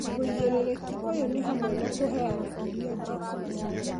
Wĩigĩrĩrĩki ũyũ nĩ hamwe na kũheana irio njega